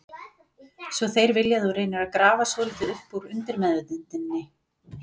Svo þeir vilja að þú reynir að grafa svolítið upp úr undirmeðvitundinni.